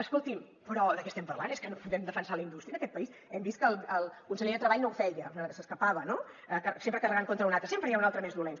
escolti’m però de què estem parlant és que no podem defensar la indústria en aquest país hem vist que el conseller de treball no ho feia s’escapava no sempre carregant contra un altre sempre hi ha un altre més dolent